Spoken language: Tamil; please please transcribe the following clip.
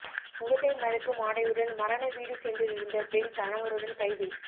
முகத்தை மறைக்கும் ஆடையுடன் மரண வீடு சென்றிருந்த பெண் கணவருடன் கைது